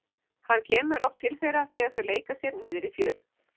Hann kemur oft til þeirra þegar þau leika sér niðri í fjöru.